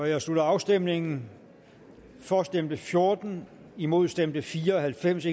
jeg slutter afstemningen for stemte fjorten imod stemte fire og halvfems